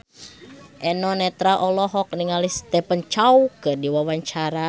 Eno Netral olohok ningali Stephen Chow keur diwawancara